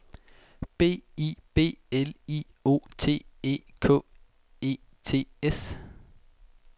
B I B L I O T E K E T S